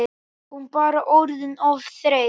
Hún bara orðin of þreytt.